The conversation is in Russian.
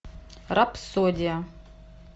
рапсодия